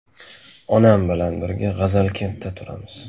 Onam bilan birga G‘azalkentda turamiz.